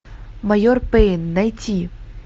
майор пейн найти